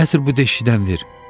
Gətir bu deşikdən ver.